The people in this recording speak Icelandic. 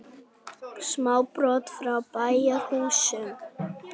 Sám brott frá bæjarhúsum.